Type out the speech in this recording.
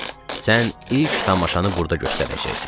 Sən ilk tamaşanı burda göstərəcəksən.